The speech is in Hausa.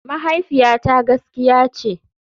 Mahaifiyata gaskiya ce.